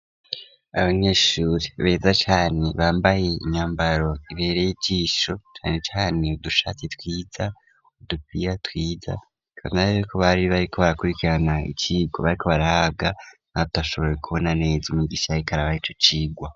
Abanyeshuri beza cane bambaye imyambaro ibereye ijisho cane cane udushatsi twiza udupira twiza kanarige ko bari bari ko barakurikirana icirwa aho bariko barahabwa aho tutashoboye kubona neza umwigisha yariko arabaha ico cirwa.